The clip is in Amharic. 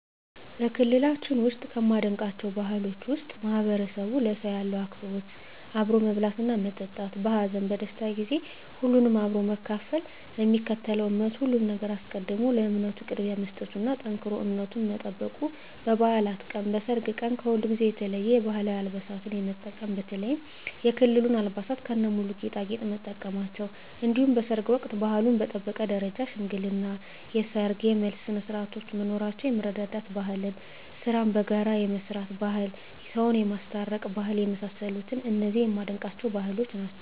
በክልላችን ውስጥ ከማደንቃቸው ባህሎች ውስጥ ማህበረሰቡ ለሰው ያለው አክብሮት አብሮ መብላትና መጠጣት በሀዘን በደስታ ጊዜ ሁሉንም አብሮ በመካፈል ለሚከተለው እምነት ከሁሉም ነገር አስቀድሞ ለእምነቱ ቅድሚያ መስጠቱና ጠንክሮ እምነቱን መጠበቁ በባዕላት ቀን በሰርግ ቀን ከሁልጊዜው የተለየ የባህላዊ አልባሳትን የመጠቀም በተለይም የክልሉን አልባሳት ከነሙሉ ጌጣጌጥ መጠቀማቸው እንዲሁም በሰርግ ወቅት ባህሉን በጠበቀ ደረጃ የሽምግልና የሰርግ የመልስ ስነስርዓቶች መኖራቸው የመረዳዳት ባህል ስራን በጋራ የመስራት ባህል ሰውን የማስታረቅ ባህል የመሳሰሉት እነዚህ የማደንቃቸው ባህሎች ናቸዉ።